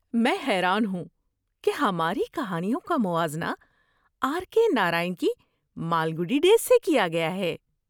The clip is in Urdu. میں حیران ہوں کہ ہماری کہانیوں کا موازنہ آر کے نارائن کی مالگوڈی ڈیز سے کیا گیا ہے!